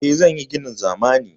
Eh, zan yi ginin zamani.